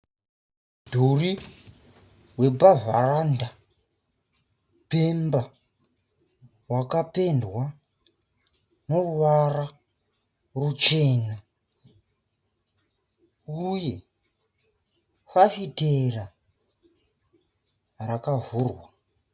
Mudhuri wepavharanda pemba wakapendwa neruvara ruchena uye fafitera rakavhurwa.